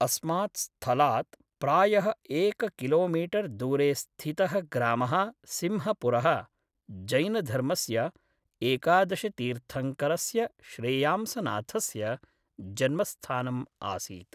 अस्मात् स्थलात् प्रायः एककिलोमीटर् दूरे स्थितः ग्रामः सिंहपुरः जैनधर्मस्य एकादशतीर्थङ्करस्य श्रेयांसनाथस्य जन्मस्थानम् आसीत्।